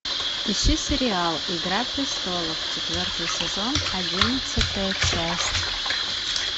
ищи сериал игра престолов четвертый сезон одиннадцатая часть